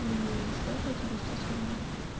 иии сколько у тебя сейчас время